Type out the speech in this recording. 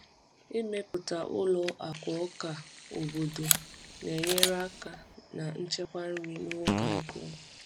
Ịmepụta ụlọ akụ ọka obodo na-enyere aka na nchekwa nri n’oge agụụ.